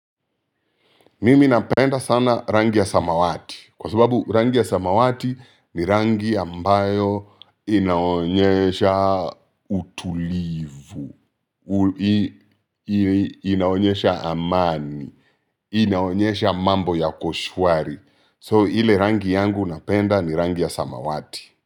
Mimi napenda sana rangi ya samawati kwa sababu rangi ya samawati ni rangi ambayo inaonyesha utulivu. Inaonyesha amani, inaonyesha mambo yako shwari. So ile rangi yangu napenda ni rangi ya samawati.